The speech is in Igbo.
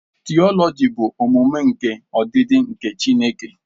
Theology bụ ọmụmụ nke ọdịdị nke Chineke.